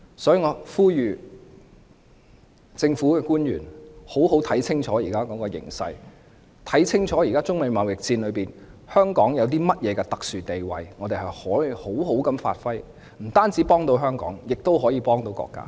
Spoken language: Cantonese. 所以，我呼籲政府官員要好好看清楚現時的形勢，看清楚現時在中美貿易戰下，香港有甚麼特殊地位可以好好發揮，這樣不但能幫助香港，亦可以幫助國家。